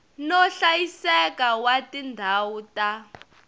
no hlayiseka wa tindhawu ta